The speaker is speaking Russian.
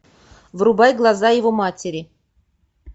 врубай глаза его матери